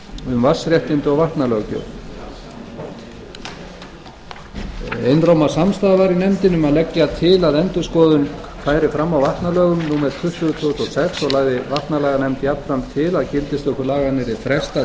um vatnsréttindi og vatnalöggjöf einróma samstaða var í nefndinni um að leggja til að endurskoðun færi fram á vatnalögum númer tuttugu tvö þúsund og sex og lagði vatnalaganefnd jafnframt til að gildistöku laganna yrði frestað